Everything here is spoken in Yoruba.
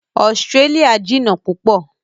Australia jìnà púpọ̀